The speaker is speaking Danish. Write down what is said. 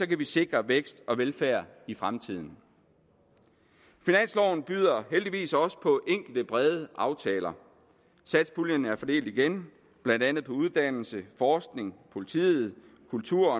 kan vi sikre vækst og velfærd i fremtiden finansloven byder heldigvis også på enkelte brede aftaler satspuljen er fordelt igen blandt andet på uddannelse forskning politi og kultur